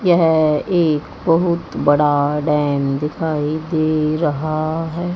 यह एक बहुत बड़ा डैम दिखाई दे रहा है।